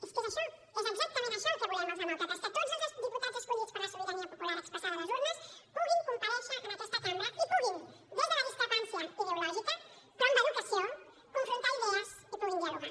és que és això és exactament això el que volem els demòcrates que tots el diputats escollits per la sobirania popular expressada a les urnes puguin comparèixer en aquesta cambra i puguin des de la discrepància ideològica però amb educació confrontar idees i puguin dialogar